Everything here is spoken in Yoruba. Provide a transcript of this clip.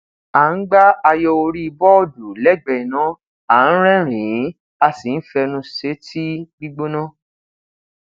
a n gba ayo ori bọọdu lẹgbẹẹ ina a n rẹrinin a si n fẹnu sẹ tii gbigbona